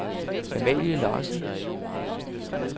Amalie Larsen